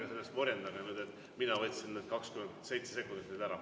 Ärge laske end sellest morjendada, et mina nagu võtsin need 27 sekundit teilt ära.